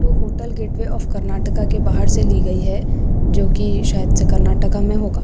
Hotel gateway of Karnataka के बाहर से ली गई है जो कि शायद से कर्नाटका मे होगा।